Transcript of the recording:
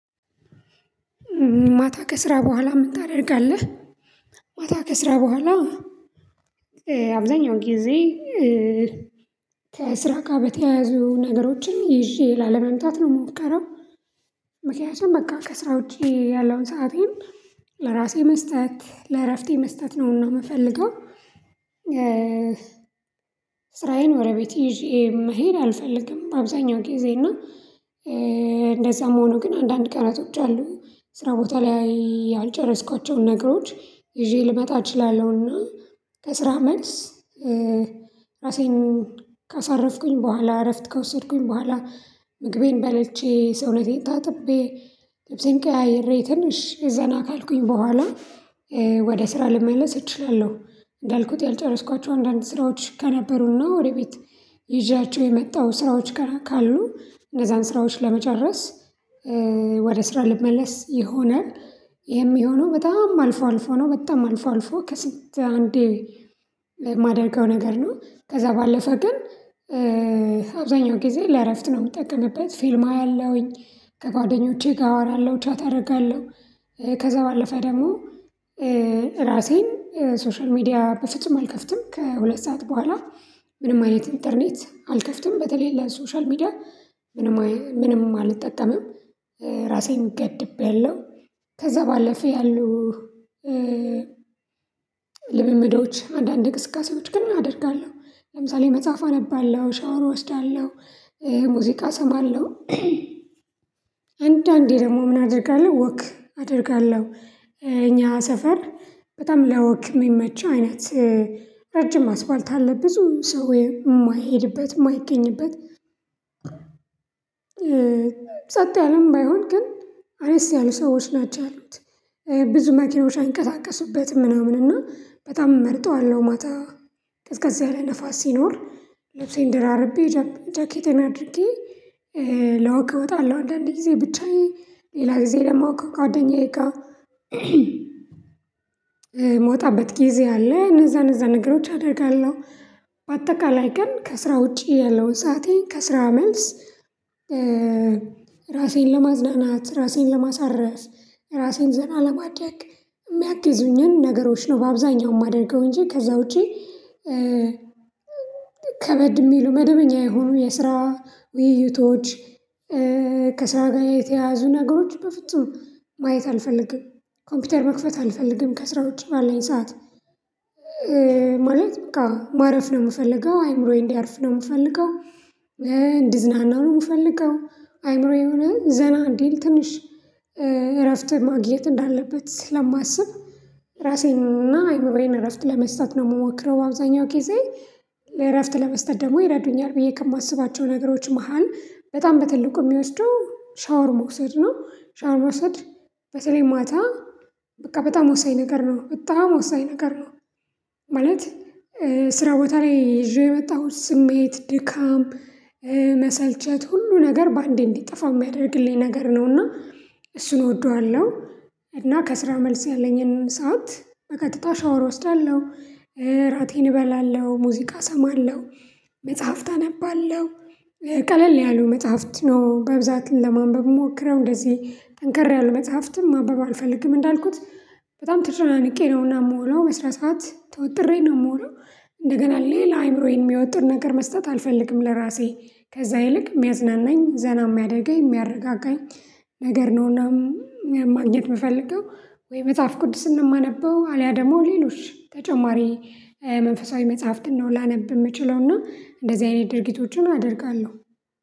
ማታ ከስራ በኋላ ምን ታደርጋለህ? ማታ ከስራ በኋላ አብዛኛውን ጊዜ ከስራ ጋ በተያያዙ ነገሮችን ይዤ ላለመምጣት ነው የምሞከረው። ምክንያቱም በቃ ከስራ ውጪ ያለውን ሰአቴን ለራሴ መስጠት ለእረፍቴ መስጠት ነውና የምፈልገው። ስራዬን ወደ ቤት ይዤ መሄድ አልፈልግም። አብዛኛው ጊዜ እና እንደዛም ሆኖ ግን አንዳንድ ቀናቶች አሉ ስራ ቦታ ላይ ያልጨረስኳቸውን ነግሮች ይዤ ልመጣ እችላለሁና። ከስራ መልስ ራሴን ካሳረፍኩኝ በኋላ እረፍት ከወሰድኩኝ በኋላ ምግቤን በልቼ ሰውነቴን ታጥቤ ልብሴን ቀያይሬ ትንሽ ዘና ካልኩኝ በኋላ ወደ ስራ ልመለስ እችላለሁ። እንዳልኩት ያልጨረስኳቸው አንዳንድ ስራዎች ከነበሩና ወደ ቤት ይዣቸው የመጣው ስራዎች ከ ካሉ እነዛን ስራዎች ለመጨረስ ወደ ስራ ልመለስ የሆነ ይሄም የሚሆነው በጣም አልፎ አልፎ ነው በጣም አልፎ አልፎ ከስንት አንዴ ማደርገው ነገር ነው። ከዛ ባለፈ ግን አብዛኛው ጊዜ ለእረፍት ነው የምጠቀምበት ፊልም አያለሁኝ ከጓደኞቼ ጋር አወራለሁ ቻት አደርጋለሁ። ከዛ ባለፈ ደግሞ ራሴን ሶሻል ሚዲያ በፍጹም አልከፍትም ከሁለት ሰዓት በኋላ ምንም አይነት ኢንተርኔት አልከፍትም በተለይ ለሶሻል ሚዲያ ምንም ምንም አልጠቀምም። ራሴን ገድቤያለው ከዛ ባለፈ ያሉ ልምምዶች አንዳንድ አንዳንድ እንቅስቃሴዎች ግን አደርጋለሁ ለምሳሌ መጽሐፍ አነባለሁ ሻወሩ እወስዳለሁ ሙዚቃ እሰማለሁ። አንዳንዴ ደግሞ ምን አደርጋለሁ ወክ አደርጋለሁ እኛ ሰፈር በጣም ለወክ የሚመች አይነት ረጅም አስፓልት አለ ብዙ ሰው ወይም የማይሄድበት የማይገኝበት ጸጥ ያለም ባይሆን ግን አነስ ያሉ ሰዎች ናቸው ያሉት ብዙ መኪኖች አይንቀጣቀሱበትም ምናምን እና በጣም እመርጠዋለሁ። ማታ ቀዝቀዝ ያለ ንፋስ ሲኖር ልብሴን ደራርቤ ጃኬቴን አድርጌ ለወክ እወጣለሁ አንዳንዴ ጊዜ ብቻዬን ሌላ ጊዜ ደግሞ ከጓደኛዬ ጋ ጊዜ አለ። እነዛ እነዛ ነገሮች አደርጋለሁ በአጠቃላይ ቀን ከስራ ውጪ ያለውን ሰአቴን ከስራ መልስ ራሴን ለማዝናናት ራሴን ለማሳረፍ ራሴን ዘና ለማድረግ የሚያግዙኝን ነገሮች ነው። በአብዛኛው የማደርገው እንጂ ከዛ ውጪ ከበድ የሚሉ መደበኛ የሆኑ የስራ ውይይቶች ከስራ ጋር የተያያዙ ነገሮች በፍጹም ማየት አልፈልግም። ኮምፒውተር መክፈት አልፈልግም ከስራ ውጭ ባለኝ ሰዓት ማለት በቃ ማረፍ ነው የምፈልገው አይምሮዬ እንዲያርፍ ነው የምፈልገው። እንዲዝናና ነው የምፈልገው። አይምሮዬ የሆነ ያህል ዘና እንዲል ትንሽ እረፍት ማግኘት እንዳለበት ስለማስብ ራሴንና አይምሮዬን እረፍት ለመስጠት ነው የምሞክረው። በአብዛኛው ጊዜ ለእረፍት ለመስጠት ደግሞ ይረዱኛል ብዬ ከማስባቸው ነገሮች መሃል በጣም በትልቁ የሚወስደው ሻወር መውሰድ ነው ሻወር መውሰድ በተለይ ማታ በቃ በጣም ወሳኝ ነገር ነው በጣም ወሳኝ ነገር ነው። ማለት ስራ ቦታ ላይ ይዤ የመጣሁት ስሜት ድካም መሰልቸት ሁሉ ነገር በአንዴ እንዲጠፋ የሚያደርግልኝ ነገር ነውና እሱን እወደዋለሁ። እና ከስራ መልስ ያለኝን ሰዓት በቀጥታ ሻወር እወስዳለሁ እራቴን እበላለሁ ሙዚቃ እሰማለሁ መጽሐፍት አነባለሁ ቀለል ያሉ መጽሐፍት ነው በብዛት ለማንበብ ምሞክረው እንደዚህ ጠንከር ያለ መጽሐፍትም ማንበብ አልፈልግም። እንዳልኩት በጣም ተጨናንቄ ነው እና ምወለው በስነ ስርዓት ተወጥሬ ነው የምውለው እንደገና ሌላ አይምሮዬን የሚወጥር ነገር መስጠት አልፈልግም ለራሴ ከዛ ይልቅ ሚያዝናናኝ ዘና የሚያደርገኝ የሚያረጋጋኝ ነገር ነውና። ማግኘት የምፈልገው ወይ መጽሐፍ ቅዱስን ነው የማነበው አልያ ደግሞ ሌሎች ተጨማሪ መንፈሳዊ መጽሐፍትን ነው ላነብ የምችለው እና እንደዚህ አይነት ድርጊቶችን አደርጋለሁ።